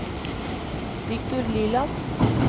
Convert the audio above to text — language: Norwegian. Victor Liland